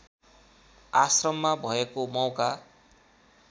आश्रममा भएको मौका